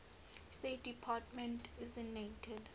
state department designated